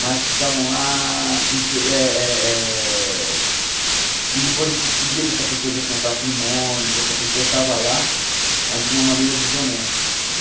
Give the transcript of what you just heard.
mas que estavam lá inte... Eh eh eh e depois a gente descobria que essa pessoa já tinha patrimônio, que essa pessoa estava lá, mas de uma maneira desonesta.